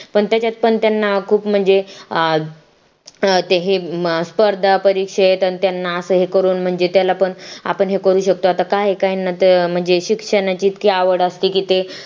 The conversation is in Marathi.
पण त्याच्यात पण त्यांना खूप म्हणजे अं ते हे स्पर्धा परीक्षेत आणि त्यांना असेही करून म्हणजे त्याला पण आपण हे करू शकतो आता काही काही ना म्हणजे शिक्षणाची ती आवड असते की ते